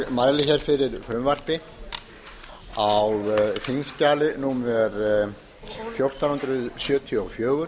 mæli fyrir frumvarpi til laga á þingskjali fjórtán hundruð sjötíu og fjögur